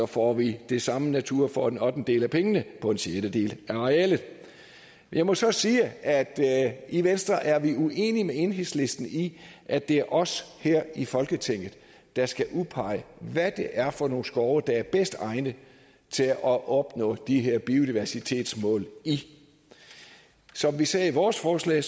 får vi det samme natur for en ottendedel af pengene på en sjettedel af arealet jeg må så sige at at i venstre er vi uenige med enhedslisten i at det er os her i folketinget der skal udpege hvad det er for nogle skove der er bedst egnet til at opnå de her biodiversitetsmål i som vi sagde i vores forslag